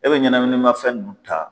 E bɛ ɲanaminimafɛn ninnu ta.